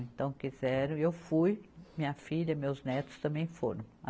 Então quiseram, e eu fui, minha filha, meus netos também foram.